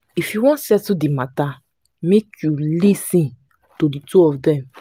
if you wan settle di matta make you lis ten to di two of dem